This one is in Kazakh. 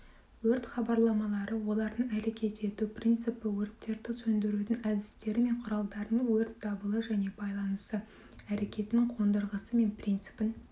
өрт хабарламалары олардың әрекет ету принципі өрттерді сөндірудің әдістері мен құралдарын өрт дабылы және байланысы әрекетінің қондырғысы мен принципін